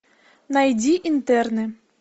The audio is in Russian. найди интерны